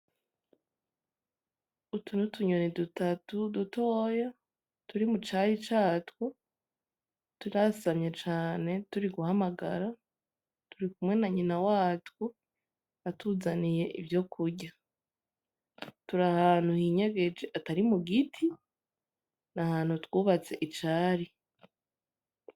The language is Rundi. Utu n'utunyoni dutatu dutoya turi mu cari catwo turasamye cane turi guhamagara, turikumwe na nyina watwo atuzaniye ivyokurya. Turahantu hinyegeje atari mu giti nahantu twubatse icari.